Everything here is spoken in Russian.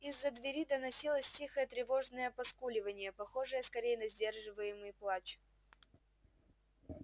из за двери доносилось тихое тревожное поскуливание похожее скорее на сдерживаемый плач